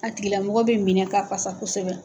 A tigila mɔgɔ bɛ minɛ ka fasa kosɛbɛ.